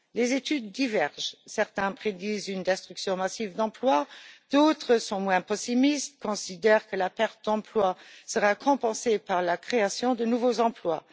Les études divergent certains prédisent une destruction massive d'emplois, d'autres sont moins pessimistes et considèrent que les emplois détruits seront compensés par la création de nouveaux emplois.